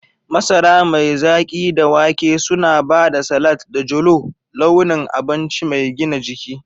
Masara mai zaki da wake suna ba da salat da jolo launin abinci mai gina jiki.